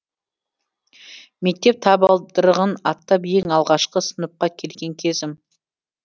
мектеп табалдырығын аттап ең алғашқы сыныпқа келген кезім